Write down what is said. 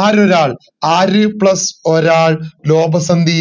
ആരൊരാൾ ആര് plus ഒരാൾ ലോഭ സന്ധി